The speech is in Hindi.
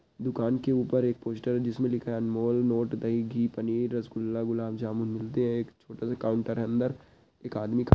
दुकान के ऊपर एक पोस्टर है जिसमें लिखा है अनमोल नोट दही घी पनीर रसगुल्ला गुलाब जामुन मिलते हैं एक छोटा सा काउंटर है अंदर एक आदमी ख --